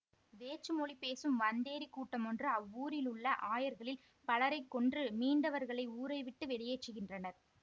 வேற்று மொழி பேசும் வந்தேறி கூட்டமொன்று அவ்வூரில் உள்ள ஆயர்களில் பலரைக்கொன்று மீண்டவர்களை ஊரை விட்டு வெளியேற்றுகின்றனர்